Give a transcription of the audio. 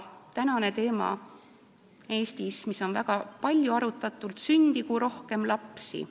Praegu arutatakse Eestis seda, et peaks sündima rohkem lapsi.